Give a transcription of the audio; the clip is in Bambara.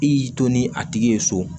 I y'i to ni a tigi ye so